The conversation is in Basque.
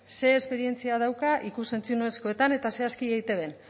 zer esperientzia dauka ikus entzunezkoetan eta zehazki eitbn